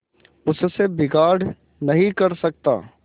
उससे बिगाड़ नहीं कर सकता